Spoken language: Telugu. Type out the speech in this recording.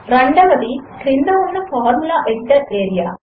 రెండవది క్రింద ఉన్న ఫార్ములా ఎడిటర్ ఏరియా